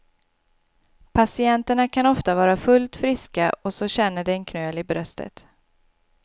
Patienterna kan ofta vara fullt friska och så känner de en knöl i bröstet.